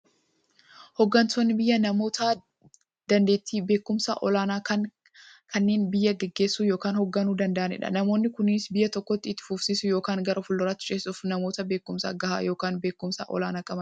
Hooggantoonni biyyaa namoota daanteettiifi beekumsa olaanaa qaban, kanneen biyya gaggeessuu yookiin hoogganuu danda'aniidha. Namoonni kunis, biyya tokko itti fufsiisuuf yookiin gara fuulduraatti ceesisuuf, namoota beekumsa gahaa yookiin beekumsa olaanaa qabaniidha.